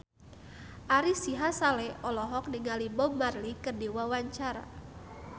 Ari Sihasale olohok ningali Bob Marley keur diwawancara